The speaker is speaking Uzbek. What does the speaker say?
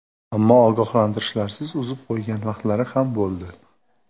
Ammo ogohlantirishlarsiz uzib qo‘ygan vaqtlari ham bo‘ldi.